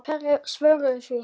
Hverju svararðu því?